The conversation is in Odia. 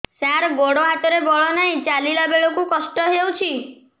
ସାର ଗୋଡୋ ହାତରେ ବଳ ନାହିଁ ଚାଲିଲା ବେଳକୁ କଷ୍ଟ ହେଉଛି